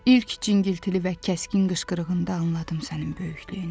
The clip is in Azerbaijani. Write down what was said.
İlk cingiltili və kəskin qışqırığında anladım sənin böyüklüyünü.